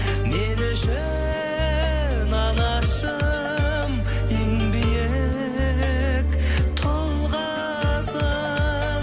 мен үшін анашым ең биік тұлғасың